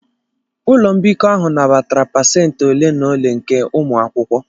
Ụlọ mbikọ ahụ nabatara pasentị ole na ole nke ụmụ akwụkwọ.